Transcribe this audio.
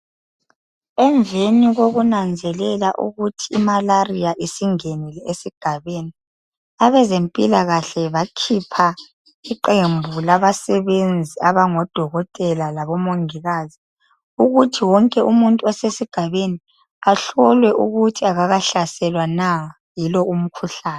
Emveni kokunanzelela ukuthi imalaria isingenile esigabeni abezempilakahle bakhipha iqembu labasebenzi abafana lodokotela labo mongikazi ukuthi wonke umunth osesigabeni ahlolwe ukuthi akakahlaselwa na yilo umkhuhlane